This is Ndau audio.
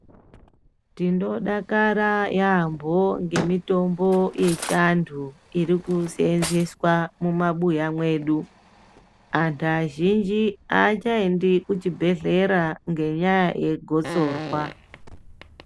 Tinodakara yambo ngemitombo yechiandu iri kusenzeswa mumabuya mwedu antu azhinji achaendi kuzvibhedhlera ngenyaya yegotsorwa.